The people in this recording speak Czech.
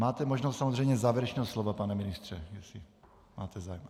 Máte možnost samozřejmě závěrečného slova, pane ministře, jestli máte zájem.